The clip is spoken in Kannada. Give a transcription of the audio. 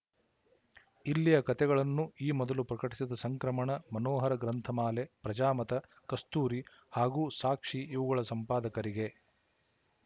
ಇಲ್ಲಿಯ ಕತೆಗಳನ್ನು ಈ ಮೊದಲು ಪ್ರಕಟಿಸಿದ ಸಂಕ್ರಮಣ ಮನೋಹರ ಗ್ರಂಥಮಾಲೆ ಪ್ರಜಾಮತ ಕಸ್ತೂರಿ ಹಾಗೂ ಸಾಕ್ಷಿ ಇವುಗಳ ಸಂಪಾದಕರಿಗೆ